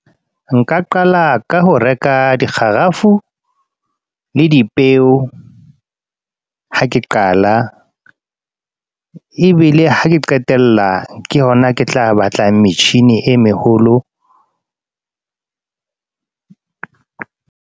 Nka qala ka ho reka di kgarafu, le dipeo. Ha ke qala. Ebile ha ke qetella, ke hona ke tla batla metjhini e meholo.